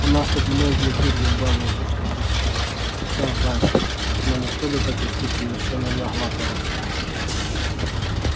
у нас тут многие дурью балуются чтобы расслабиться сам знаешь но никто до такой степени ещё не наглатывался